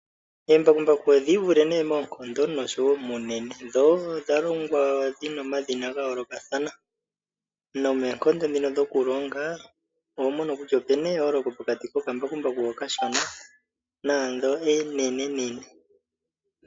Oombakumbaku odhi ivule moonkondo noshowo muunene, dho odha longwa dhi na omadhina ga yoolokathana nomoonkondo dhokulonga oho mono kutya opu na eyooloko pokati kokambakumaku hono okashona naandho oonenenene.